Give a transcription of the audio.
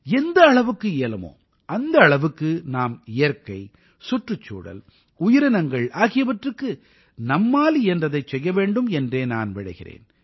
எந்த அளவுக்கு இயலுமோ அந்த அளவுக்கு நாம் இயற்கை சுற்றுச்சூழல் உயிரினங்கள் ஆகியவற்றுக்கு நம்மால் இயன்றதைச் செய்ய வேண்டும் என்றே நான் விழைகிறேன்